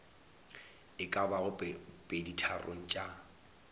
e ka bago peditharong tša